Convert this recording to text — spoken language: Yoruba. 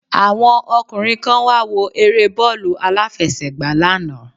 Àwọn ọkùnrin kan wáwo eré bóòlù alàfẹsẹ̀gbà lánàá